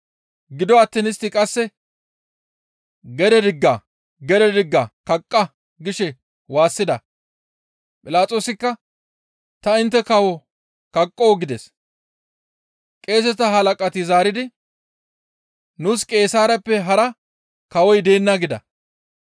Gido attiin istti qasse, «Gede digga! Gede digga! Kaqqa!» gishe waassida. Philaxoosikka, «Ta intte kawo kaqqoo?» gides. Qeeseta halaqati zaaridi, «Nuus Qeesaareppe hara kawoy deenna» gida.